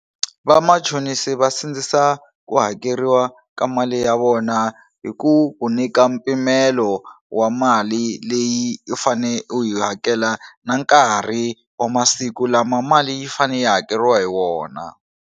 Vamachonisi va sindzisa ku hakeriwa ka mali ya vona hi ku ku nyika mpimelo wa mali leyi u fane u yi hakela na nkarhi wa masiku lama mali yi fane yi hakeriwa hi wona.